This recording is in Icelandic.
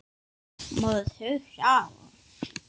Maður hrífst af honum.